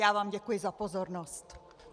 Já vám děkuji za pozornost.